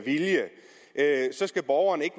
borgeren ikke